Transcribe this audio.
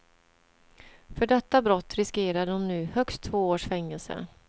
För detta brott riskerar de nu högst två års fängelse.